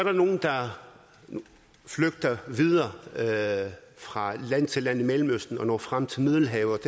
flygter videre fra land til land i mellemøsten og når frem til middelhavet